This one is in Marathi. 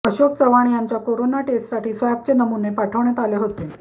अशोक चव्हाण यांचा कोरोना टेस्टसाठी स्वॅबचे नमुणे पाठवण्यात आले होते